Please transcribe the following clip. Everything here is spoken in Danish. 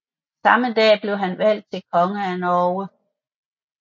Samme dag blev han valgt til konge af Norge